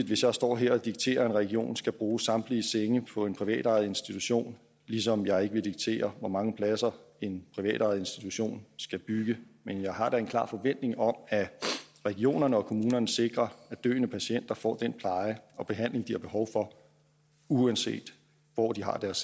hvis jeg står her og dikterer at en region skal bruge samtlige senge på en privatejet institution ligesom jeg ikke vil diktere hvor mange pladser en privatejet institution skal bygge men jeg har da en klar forventning om at regionerne og kommunerne sikrer at døende patienter får den pleje og behandling de har behov for uanset hvor de har deres